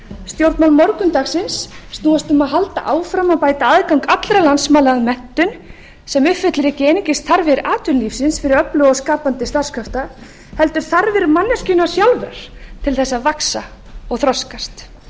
stjórnmál morgundagsins snúast um að halda áfram að bæta aðgang allra landsmanna að menntun sem uppfyllir ekki einungis þarfir atvinnulífsins fyrir öfluga og skapandi starfskrafta heldur þarfir manneskjunnar sjálfrar til að vaxa og þroskast